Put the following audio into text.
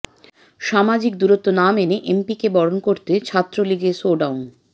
সামাজিক দূরত্ব না মেনে এমপিকে বরণ করতে ছাত্রলীগের শোডাউন